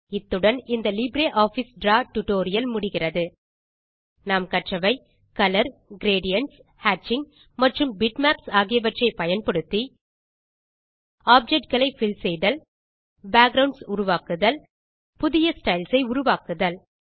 இத்துடன் இந்த LibreOffice Draw tutorial முடிகிறது நாம் கற்றவை கலர் கிரேடியன்ட்ஸ் ஹேட்சிங் மற்றும் பிட்மேப்ஸ் ஆகியவற்றை பயன்படுத்தி ஆப்ஜெக்ட் களை பில் செய்தல் பேக்குரவுண்ட்ஸ் உருவாக்குதல் புதிய ஸ்டைல்ஸ் உருவாக்குதல்